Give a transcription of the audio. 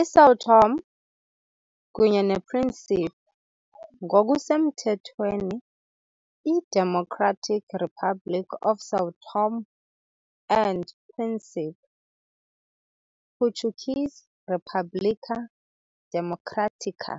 ISão Tomé kunye nePríncipe, ngokusemthethweni iDemocratic Republic of São Tomé and Príncipe, Portuguese "República Democrática